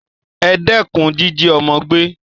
E dékun jíjí ọ́mọ́ gbé